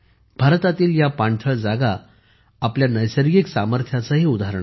भारतातील या पाणथळ जागा आपल्या नैसर्गिक सामर्थ्याचेही उदाहरण आहेत